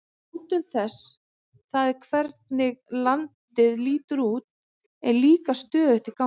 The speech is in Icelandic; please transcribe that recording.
Mótun þess, það er hvernig landið lítur út, er líka stöðugt í gangi.